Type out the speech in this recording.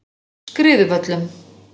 Skriðuvöllum